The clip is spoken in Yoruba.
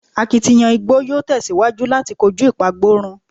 Akitiyan igbo yoo tẹsiwaju lati koju ipagborun